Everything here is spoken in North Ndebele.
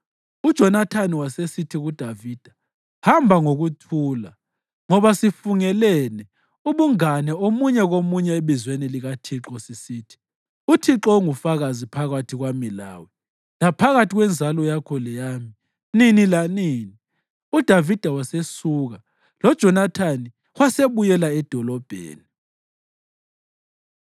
UJonathani wasesithi kuDavida, “Hamba ngokuthula, ngoba sifungelane ubungane omunye komunye ebizweni likaThixo sisithi, ‘ Uthixo ungufakazi phakathi kwami lawe, laphakathi kwenzalo yakho leyami nini lanini.’ ” UDavida wasesuka, loJonathani wasebuyela edolobheni.